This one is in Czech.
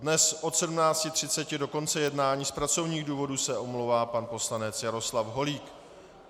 Dnes od 17.30 do konce jednání z pracovních důvodů se omlouvá pan poslanec Jaroslav Holík.